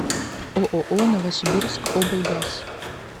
ооо новосибирскоблгаз